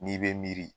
N'i bɛ miiri